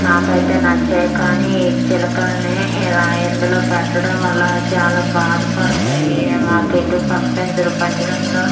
నాకైతే నచ్చాయి కానీ ఈ చిలకల్ని ఇలా ఇందులో పెట్టడం అలా చాల బాద పడతాయి మాకెటు పంపించరు పంజరంలో .]